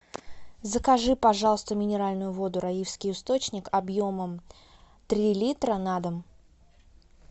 закажи пожалуйста минеральную воду раифский источник объемом три литра на дом